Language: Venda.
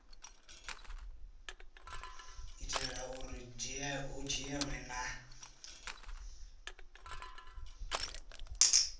itela uri hu dzhielwe nha